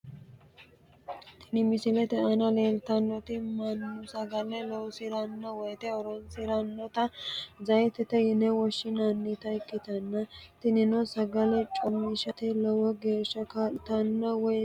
Tini misilete aana leeltannoti mannu sagale loosi'ranno woyte horonsi'rannota zeeyitete yine woshshinannita ikkitanna, tinino sagale coomishate lowo geeshsha kaa'litanno woy biiffisanno.